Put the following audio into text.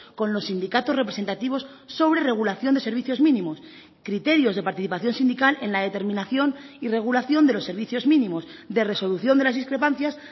con los sindicatos representativos sobre regulación de servicios mínimos criterios de participación sindical en la determinación y regulación de los servicios mínimos de resolución de las discrepancias